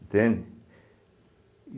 Entende?